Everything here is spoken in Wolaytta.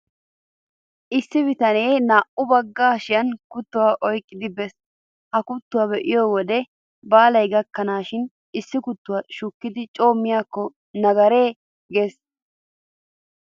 Issi bitanee naa''u bagga hashiyan kuttuwaa oyqqidi bees. Ha kuttuwaa be'iyo wode baalay gakkennanikka issi kuttuwaa shukkidi coo miyaakko nagareyee? giissees.